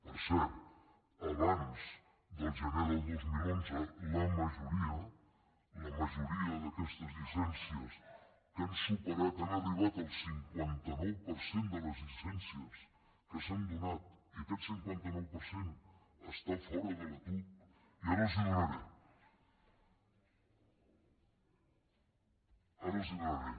per cert abans del gener del dos mil onze la majoria la majoria d’aquestes llicències que han superat han ar·ribat al cinquanta nou per cent de les llicències que s’han donat i aquest cinquanta nou per cent està fora de la tuc i ara els ho do·naré